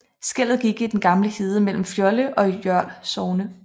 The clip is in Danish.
Skellet gik i den gamle hede mellem Fjolde og Jørl sogne